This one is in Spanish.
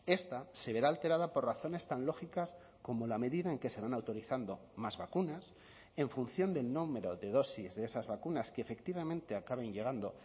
esta se verá alterada por razones tan lógicas como la medida en que se van autorizando más vacunas en función del número de dosis de esas vacunas que efectivamente acaben llegando